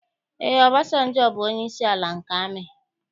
Ee, Ọbasanjọ bụ onyeisi ala nke amị.